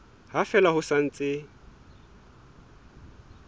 ha fela ho sa ntse